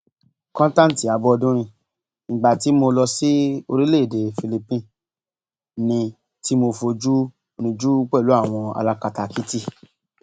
kọńtántí abọdúnrin ìgbà tí mo lọ sí orílẹèdè philipine ní tí mo fojú rìnjú pẹlú àwọn alákatakítí